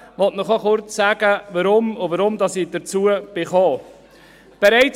Ich möchte Ihnen auch kurz sagen, weshalb und wie ich dazu gekommen bin.